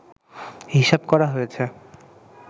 হিসাব করা হয়েছে